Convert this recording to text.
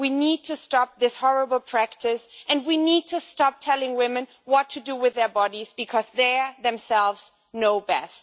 We need to stop this horrible practice and we need to stop telling women what to do with their bodies, because they themselves know best.